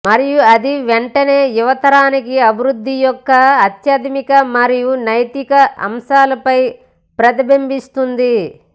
మరియు అది వెంటనే యువతరానికి అభివృద్ధి యొక్క ఆధ్యాత్మిక మరియు నైతిక అంశాలపై ప్రతిబింబిస్తుంది